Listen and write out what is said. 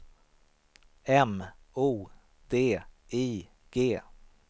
M O D I G